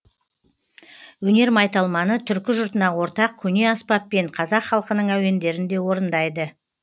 өнер майталманы түркі жұртына ортақ көне аспаппен қазақ халқының әуендерін де орындайды